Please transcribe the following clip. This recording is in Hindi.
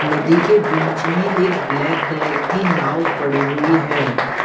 नदी के बीच में एक ब्लैक कलर की नाव पड़ी हुई है।